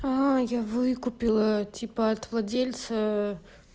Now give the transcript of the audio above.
а я выкупила типа от владельца